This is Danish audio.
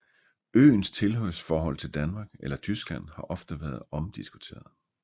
Øens tilhørsforhold til Danmark eller Tyskland har ofte været omdiskuteret